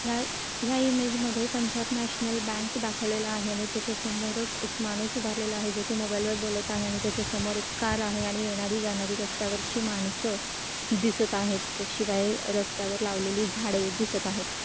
ह्या ह्या इमेज मध्ये पंजाब नॅशनल बँक दाखवलेला आहे आणि त्याच्या समोरच एक माणूस उभारलेला आहे. जो की मोबाईल वर बोलत आहे आणि त्याच्यासमोर एक कार आहे आणि येणारी जाणारी रस्त्यावरचे माणसं दिसत आहेत शिवाय रस्त्यावरती लावलेली झाड ही दिसत आहेत.